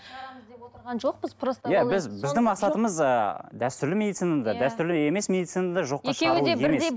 шығарамыз деп отырған жоқпыз просто иә біз біздің мақсатымыз ы дәстүрлі медицинаны да дәстүрлі емес медицинаны да жоққа шығару емес